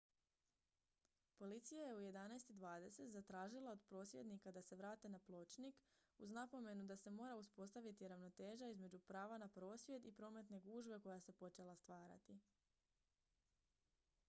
policija je u 11:20 zatražila od prosvjednika da se vrate na pločnik uz napomenu da se mora uspostaviti ravnoteža između prava na prosvjed i prometne gužve koja se počela stvarati